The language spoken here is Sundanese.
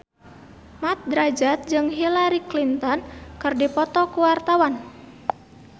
Mat Drajat jeung Hillary Clinton keur dipoto ku wartawan